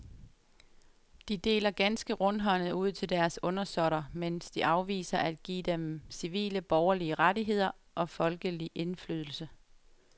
De deler ganske rundhåndet ud til deres undersåtter, mens de afviser at give dem civile borgerlige rettigheder og folkelig indflydelse.